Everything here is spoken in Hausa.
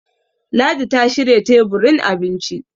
ladi ta shirya teburin abinci